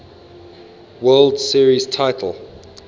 world series titles